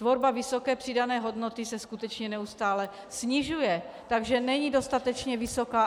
Tvorba vysoké přidané hodnoty se skutečně neustále snižuje, takže není dostatečně vysoká.